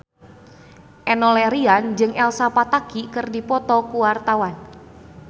Enno Lerian jeung Elsa Pataky keur dipoto ku wartawan